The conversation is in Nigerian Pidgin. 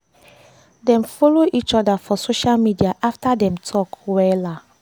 im try im best to allow am join dia talk after everybody no gree follow am talk